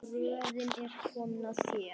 Röðin er komin að þér.